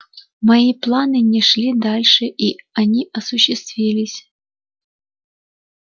мои планы не шли дальше и они осуществились